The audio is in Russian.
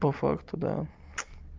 по факту да